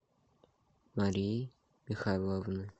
марии михайловны